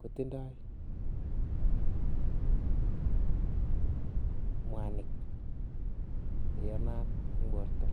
kotindoi mwanik cheyanat en borto.